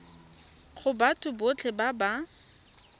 go batho botlhe ba ba